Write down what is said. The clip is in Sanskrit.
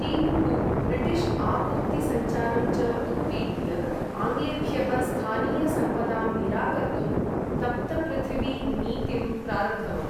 टीपुः ब्रिटिश् आपूर्ति सञ्चारं च उत्पीड्य, आङ्ग्लेभ्यः स्थानीय सम्पदां निराकर्तुं तप्तपृथिवी नीतिं प्रारब्धवान्।